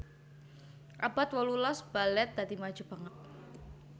Abad wolulas balèt dadi maju banget